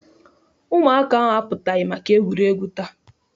Ụmụaka ahụ apụtaghị maka egwuregwu taata.